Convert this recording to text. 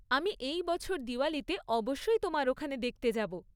আমি এই বছর দিওয়ালীতে অবশ্যই তোমার ওখানে দেখতে যাব।